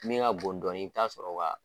Min ka bon dɔɔnin i bɛ t'a sɔrɔ o ka